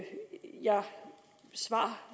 jeg